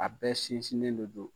A bɛɛ sinsinnen de don